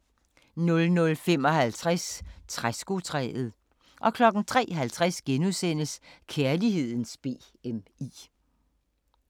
00:55: Træskotræet 03:50: Kærlighedens BMI *